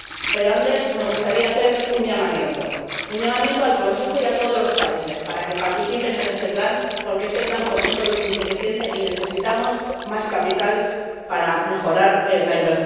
Pero antes me gustaría hacer un llamamiento al Consejo y a todos los países para que participen en este plan, porque este plan por sí solo es insuficiente y necesitamos más capital para mejorar la inversión.